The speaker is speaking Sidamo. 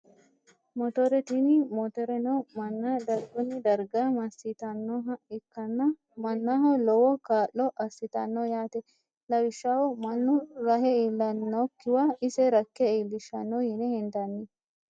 Motore tini motoreno manna darguni darga masitanoha ikkana manaho lowo kaa`lo asitano yaate lawishshaho manu rahe iilanokiwa ise rakke iilishano yine hendani.